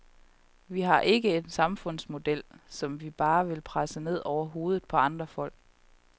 Vi har ikke en samfundsmodel, som vi bare vil presse ned over hovedet på andre folk.